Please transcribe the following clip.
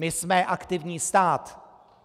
My jsme aktivní stát.